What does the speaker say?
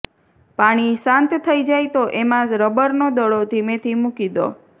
પાણી શાંત થઈ જાય તો એમાં રબરનો દડો ધીમેથી મૂકી દો